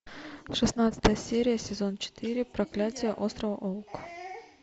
шестнадцатая серия сезон четыре проклятие острова оук